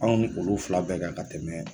Anw ni olu fila bɛɛ kan ka tɛmɛ